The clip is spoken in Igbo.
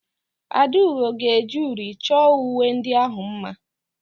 Akudo ga-eji uri chọọ uwe ndị ahụ mma.